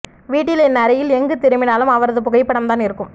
வீட்டில் என் அறையில் எங்கு திரும்பினாலும் அவரது புகைப்படம்தான் இருக்கும்